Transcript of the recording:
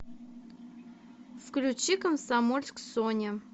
включи комсомольск соня